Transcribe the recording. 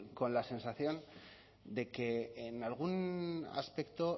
con la sensación de que en algún aspecto